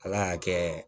Ala y'a kɛ